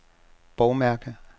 bogmærke